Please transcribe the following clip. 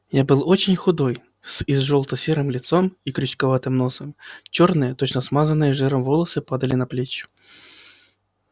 я был очень худой с изжелта-серым лицом и крючковатым носом чёрные точно смазанные жиром волосы падали на плечи